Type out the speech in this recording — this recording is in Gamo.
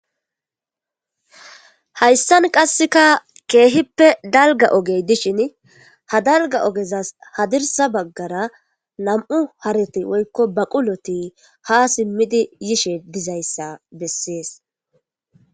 Hayssan qassika keehippe dalgga ogey dishini ha dalgga ogezas hadirssa baggara nam'u hareti woykko baquloti ha simmidi yishe dizayssa bessees.